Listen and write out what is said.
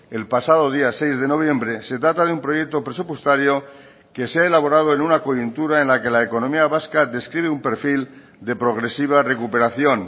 el pasado día seis de noviembre se trata de un proyecto presupuestario que se ha elaborado en una coyuntura en la que la economía vasca describe un perfil de progresiva recuperación